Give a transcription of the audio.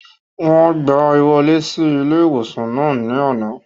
Wọ́n gbàá wọlé sí ilé-ìwòsàn náà ní àná